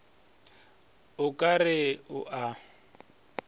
o ka re o a